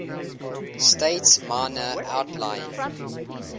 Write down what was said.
states minor outlying